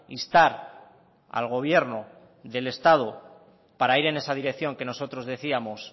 instar al gobierno del estado para ir en esa dirección que nosotros decíamos